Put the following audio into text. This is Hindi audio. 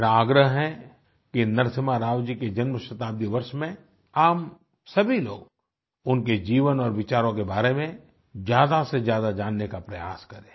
मेरा आग्रह है कि नरसिम्हा राव जी के जन्मशताब्दी वर्ष में आप सभी लोग उनके जीवन और विचारों के बारे में ज्यादासेज्यादा जानने का प्रयास करें